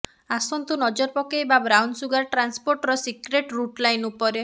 ଆସନ୍ତୁ ନଜର ପକେଇବା ବ୍ରାଉନସୁଗାର ଟ୍ରାନ୍ସପୋର୍ଟର ସିକ୍ରେଟ ରୁଟ ଲାଇନ୍ ଉପରେ